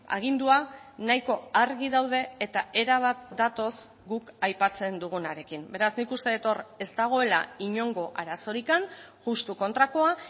agindua nahiko argi daude eta erabat datoz guk aipatzen dugunarekin beraz nik uste dut hor ez dagoela inongo arazorik justu kontrakoa